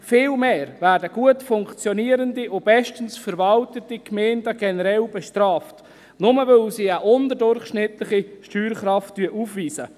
Vielmehr werden gut funktionierende und bestens verwaltete Gemeinden generell bestraft, nur, weil sie eine unterdurchschnittliche Steuerkraft aufweisen.